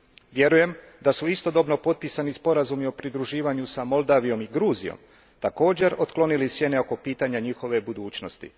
Vjerujem da su istodobno potpisani Sporazumi o pridruživanju sa Moldavijom i Gruzijom također otklonili sjene oko pitanja njihove budućnosti.